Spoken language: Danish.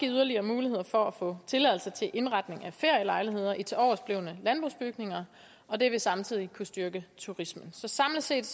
yderligere muligheder for at få tilladelse til indretning af ferielejligheder i tiloversblevne landbrugsbygninger og det vil samtidig kunne styrke turismen så samlet set